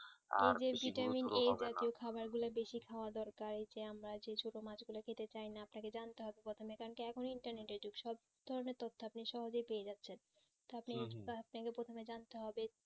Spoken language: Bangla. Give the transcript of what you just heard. খাবার গুলু দেখে খাওয়া দরকার যে আমরা যে ছোট মাছ গুলো খেতে চাই না আপনাকে জানতে হবে প্রথমে কারণ কি এখন তো internet এর যুগ সব ধরণের তথ্য আপনি সহজে পেয়ে যাচ্ছেন আপনাকে প্রথমে জানতে হবে